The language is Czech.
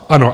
Ano.